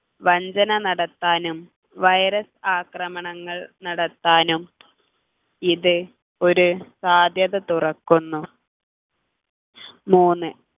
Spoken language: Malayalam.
വഞ്ചന നടത്താനും virus ആക്രമണങ്ങൾ നടത്താനും ഇത് ഒരു സാധ്യത തുറക്കുന്നു മൂന്ന്